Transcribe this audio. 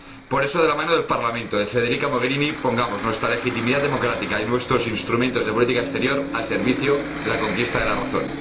Por eso, de la mano del Parlamento, de Federica Mogherini, pongamos nuestra legitimidad democrática y nuestros instrumentos de política exterior al servicio de la conquista de la razón.